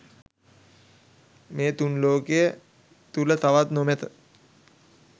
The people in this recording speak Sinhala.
මේ තුන් ලෝකය තුළ තවත් නොමැත.